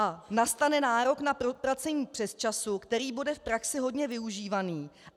A nastane nárok na proplacení přesčasu, který bude v praxi hodně využívaný.